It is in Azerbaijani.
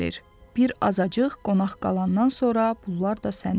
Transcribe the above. bir azacıq qonaq qalandan sonra bunlar da sənindi,